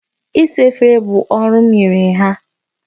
Isa efere bụ ọrụ m nyere ha.